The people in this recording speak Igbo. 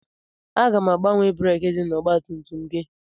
Aga m agbanwe breekị dị n'ọgbatumtum gị.